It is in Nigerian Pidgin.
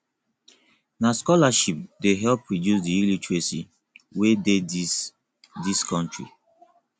na scholarship dey help reduce di illiteracy wey dey dis dis country